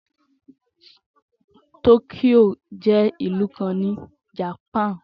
Tokyo jé ìlú kan ni Japan